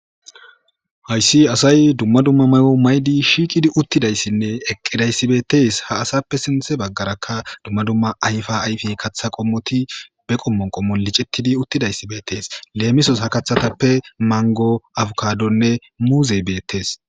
Hayssi asay dumma dumma may7o maydi shiiqidi uttidayssinne eqqidayssibetees ha asappe sinthe baggarakka dumma dumma ayfa ayfi katha qommoti be qommon qommo licettidi uttidayssi beetees leemisos ha kaththatappe mango afukadonne muuzey beettees.